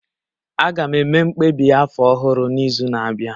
Aga m eme mkpebi afọ ọhụrụ n'izu na-abịa